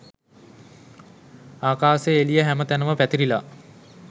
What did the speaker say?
ආකාසේ එළිය හැම තැනම පැතිරිලා